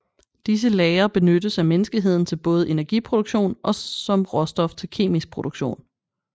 Disse lagre benyttes af menneskeheden til både energiproduktion og som råstof til kemisk produktion